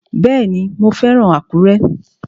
Bẹ́ẹ̀ni, mo fẹ́ràn Àkúrẹ́